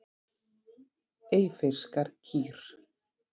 Eyfirskar kýr.